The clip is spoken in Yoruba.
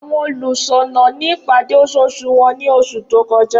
Awọn oniṣọnà ni ipade oṣooṣu wọn ni oṣu to kọja.